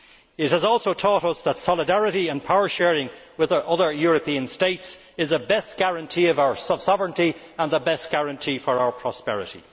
It has also taught us that solidarity and power sharing with other European states is the best guarantee of our sovereignty and the best guarantee of our prosperity.